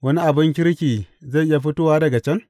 Wani abin kirki zai iya fito daga can?